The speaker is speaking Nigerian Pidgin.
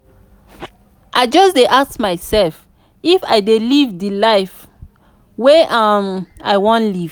i just dey ask mysef if i dey live di life wey um i wan live.